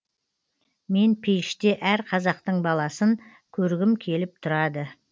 мен пейіште әр қазақтың баласын көргім келіп тұрады